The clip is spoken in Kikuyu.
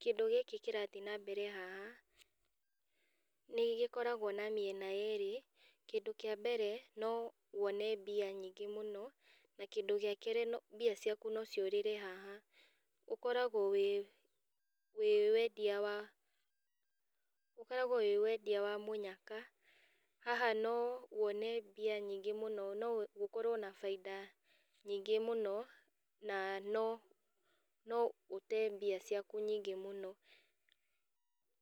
kĩndũ gĩkĩ kĩrathiĩ nambere haha, nĩ gĩkoragwo na mĩena yerĩ, kĩndũ kĩa mbere, no wone mbia nyingĩ mũno, na kindũ gĩa kerĩ mbia ciaku no ciũrĩre haha. Ũkoragwo wĩ wĩ wendia wa ũkoragwo wĩ wendia wa mũnyaka, haha no wone mbia nyingĩ mũno, no ũkorwo na bainda nyingĩ mũno, na no no ũte mbia ciaku nyingĩ mũno.